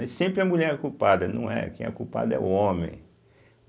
E sempre a mulher é culpada, não é. Quem é o culpado é o homem.